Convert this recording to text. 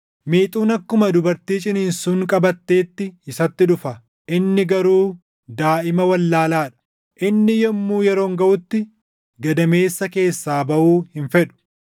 Miixuun akkuma dubartii ciniinsuun qabatteetti isatti dhufa; inni garuu daaʼima wallaalaa dha; inni yommuu yeroon gaʼutti, gadameessa keessaa baʼuu hin fedhu.